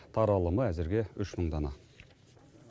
таралымы әзірге үш мың дана